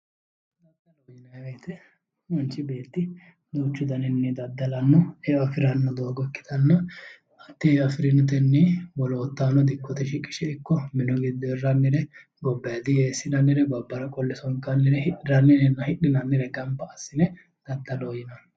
daddalo manchi beetti duuchu daninni daddalanno eo agiranno doogo ikkitanna dikkote shiqishe ikko mini giddo hirrannire wolootahono gobbara qolle sonkannire hidhinannirenna hirammannire gamba assine daddaloho yinanni.